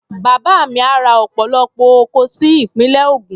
Bàbá mi á ra ọ̀pọ̀lọpọ̀ oko sí ìpínlẹ̀ Ògùn.